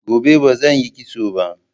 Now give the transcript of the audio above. Gobe ba zan yi kitso ba.